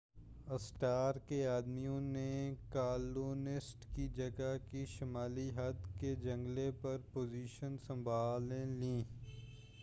Stark کے آدمیوں نے کالونسٹ کی جگہ کی شُمالی حد کے جنگلے پر پوزیشنز سنبھال لیں